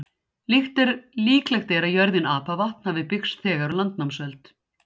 Líklegt er að jörðin Apavatn hafi byggst þegar á landnámsöld.